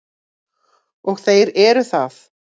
Og þeir eru það.